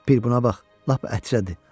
Bir buna bax, lap ətrədə.